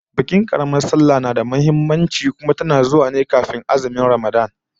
Bikin karamar sallah ta Musulmi tana da matukar muhimmanci, kuma tana zuwa ne bayan azumin Ramadan